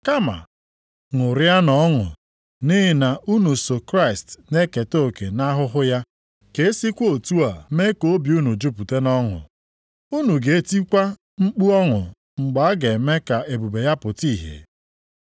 Kama ṅụrịanụ ọṅụ nʼihi na unu so Kraịst na-eketa oke nʼahụhụ ya, ka e sikwa otu a mee ka obi unu jupụta nʼọṅụ, unu ga-etikwa mkpu ọṅụ mgbe a ga-eme ka ebube ya pụta ìhè.